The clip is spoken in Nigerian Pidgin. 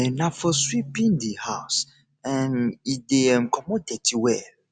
um na for sweeping di house um e dey um comot dirty well